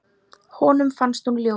Honum fannst hún ljót.